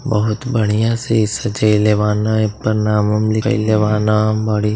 बहुत बढ़िया से सजाइले बान। एपर नाम ओम लिखइले बान। बड़ी --